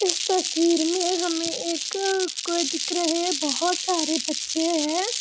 इस तस्वीर में हमें एक कोई दिख रहे बहुत सारे बच्चे हैं।